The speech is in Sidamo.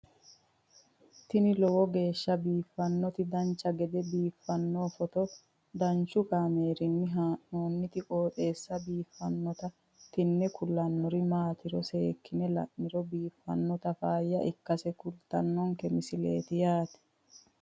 tini lowo geeshsha biiffannoti dancha gede biiffanno footo danchu kaameerinni haa'noonniti qooxeessa biiffannoti tini kultannori maatiro seekkine la'niro biiffannota faayya ikkase kultannoke misileeti yaate